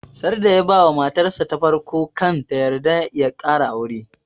Sarda ya ba wa matar sa ta farko kan ta yarda ya kara aure